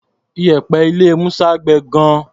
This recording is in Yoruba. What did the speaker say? Iyẹ̀pẹ̀ ní ilé Musa gbẹ gan-an.